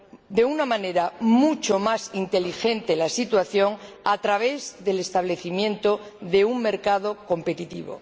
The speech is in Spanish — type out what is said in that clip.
de una manera mucho más inteligente— la situación a través del establecimiento de un mercado competitivo.